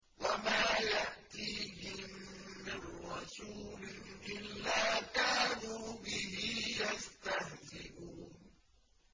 وَمَا يَأْتِيهِم مِّن رَّسُولٍ إِلَّا كَانُوا بِهِ يَسْتَهْزِئُونَ